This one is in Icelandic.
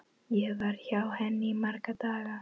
Ég var hjá henni í marga daga.